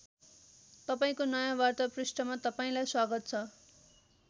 तपाईँको नयाँ वार्ता पृष्ठमा तपाईँलाई स्वागत छ।